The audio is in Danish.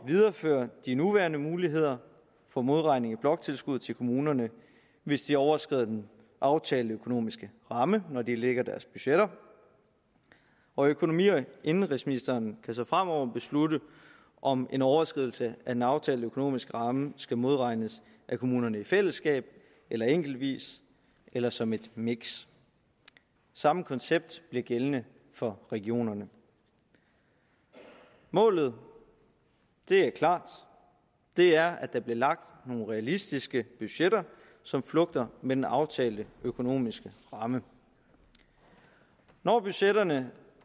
videreføre de nuværende muligheder for modregning i bloktilskud til kommunerne hvis de overskrider den aftalte økonomiske ramme når de lægger deres budgetter og økonomi og indenrigsministeren kan så fremover beslutte om en overskridelse af den aftalte økonomiske ramme skal modregnes af kommunerne i fællesskab enkeltvis eller som et miks det samme koncept bliver gældende for regionerne målet er klart det er at der bliver lagt nogle realistiske budgetter som flugter med den aftalte økonomiske ramme når budgetterne